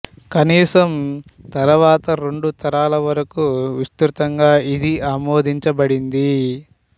కనీసం తరువాతి రెండు తరాల వరకు విస్తృతంగా ఇది ఆమోదించబడింది